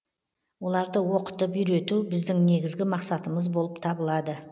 оларды оқытып үйрету біздің негізгі мақсатымыз болып табылады